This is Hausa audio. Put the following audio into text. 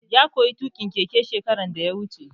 Ya koya tuƙin keke shekaran da ya wuce